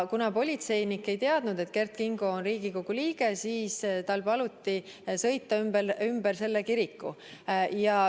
Kuna politseinik ei teadnud, et Kert Kingo on Riigikogu liige, siis tal paluti sõita ümber kiriku.